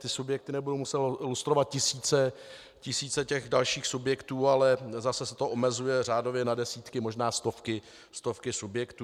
Ty subjekty nebudou muset lustrovat tisíce těch dalších subjektů, ale zase se to omezuje řádově na desítky, možná stovky subjektů.